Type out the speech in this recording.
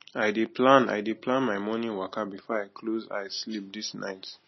i dey plan i dey plan my morning waka before i close eye sleep this night